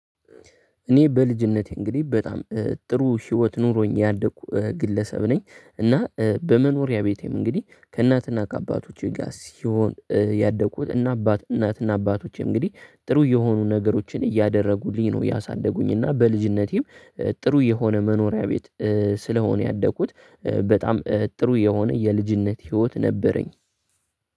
እኔ በልጅነቴ እንግዲህ በጣም ጥሩ ህይወት ኑሮኝ ያደኩ ግለሰብ ነኝ። እና በመኖሪያ ቤቴም እንግዲህ ከእናትና ከአባቶቼ ጋር ሲሆን ያደግኩት እና አባት እናትና አባቶቼ እንግዲህ ጥሩ የሆኑ ነገሮችን እያደረጉኝ ነው ያሳደጉኝ። እና በልጅነቴም ጥሩ የሆነ መኖሪያ ቤት ስለሆነ ያደኩት በጣም ጥሩ የሆነ የልጅነት ህይወት ነበረኝ።